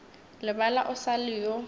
lebala o sa le yo